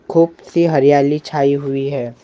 खूब सी हरियाली छाई हुई हैं ।